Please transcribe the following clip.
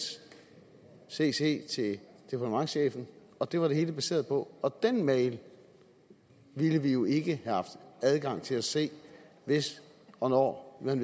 cc til departementschefen det var det hele baseret på og den mail ville vi jo ikke have haft adgang til at se hvis og når man